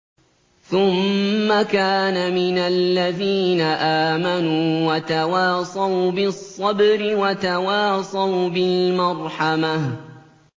ثُمَّ كَانَ مِنَ الَّذِينَ آمَنُوا وَتَوَاصَوْا بِالصَّبْرِ وَتَوَاصَوْا بِالْمَرْحَمَةِ